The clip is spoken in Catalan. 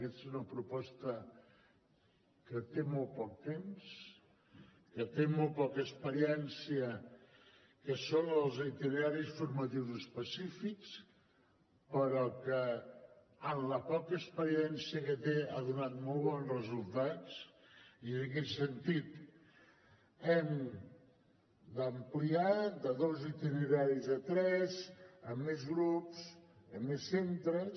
aquesta és una proposta que té molt poc temps que té molt poca experiència que són els itineraris formatius específics però que en la poca experiència que té ha donat molt bons resultats i en aquest sentit l’hem d’ampliar de dos itineraris a tres amb més grups amb més centres